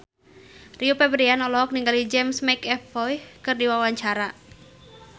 Rio Febrian olohok ningali James McAvoy keur diwawancara